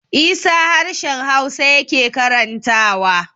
Isa harshen hausa yake karantawa